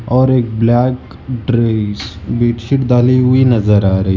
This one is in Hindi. और एक ब्लैक ड्रेस बेडशीट डाली हुई नजर आ रही--